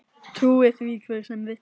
Trúi því hver sem vill.